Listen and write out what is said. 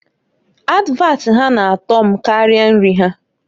Advat ha na-ato mkarịa nri ha.